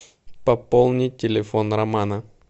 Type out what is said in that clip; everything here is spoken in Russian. пополнить телефон романа